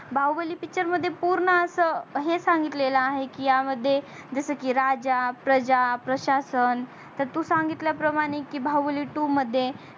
Baahubali picture मध्ये पूर्ण अस हे सांगितलेल आहे की या मध्ये जस की राजा प्रजा प्रशांश तर तू सांगितल्या प्रमाणे की बाहुबली two मध्ये